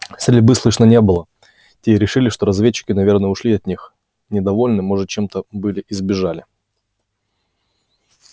стрельбы слышно не было те и решили что разведчики наверное ушли от них недовольны может чем-то были и сбежали